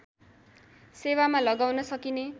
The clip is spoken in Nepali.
सेवामा लगाउन सकिने